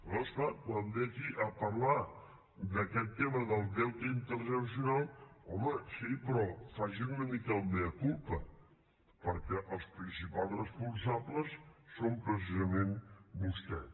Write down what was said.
aleshores clar quan ve aquí a parlar d’aquest tema del deute intergeneracional home sí però faci una mica el mea culpaprincipals responsables són precisament vostès